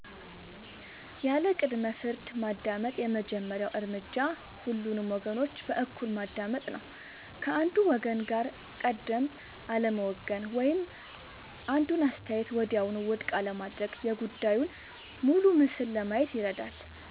ያለ ቅድመ-ፍርድ ማዳመጥ የመጀመሪያው እርምጃ ሁሉንም ወገኖች በእኩልነት ማዳመጥ ነው። ከአንዱ ወገን ጋር ቀድሞ አለመወገን ወይም አንዱን አስተያየት ወዲያውኑ ውድቅ አለማድረግ የጉዳዩን ሙሉ ምስል ለማየት ይረዳል።